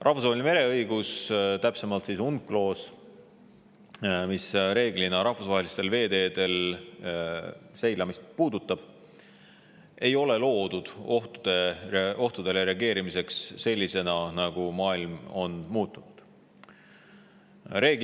Rahvusvaheline mereõigus, täpsemalt UNCLOS, mis rahvusvahelistel veeteedel seilamist puudutab, ei ole loodud ohtudele reageerimiseks sellisena, nagu muutunud maailm.